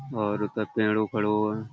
और उते पेड़ों खड़ों ऐं।